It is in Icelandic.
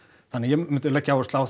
þannig að ég myndi leggja áherslu á